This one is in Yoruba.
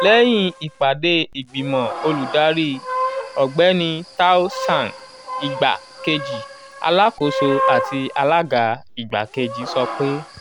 lẹ́yìn ìpàdé ìgbìmọ̀ olùdarí ọ̀gbẹ́ni tao zhang igbakeji alakoso ati alaga igbakeji sọ pe: